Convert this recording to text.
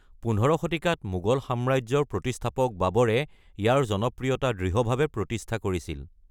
১৫ শতিকাত মোগল সাম্ৰাজ্যৰ প্ৰতিষ্ঠাপক বাবৰে ইয়াৰ জনপ্ৰিয়তা দৃঢ়ভাৱে প্ৰতিষ্ঠা কৰিছিল।